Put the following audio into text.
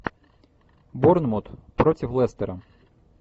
борнмут против лестера